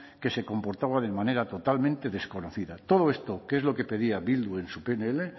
que se comportaba de manera totalmente desconocida todo esto que es lo que pedía bildu en su pnl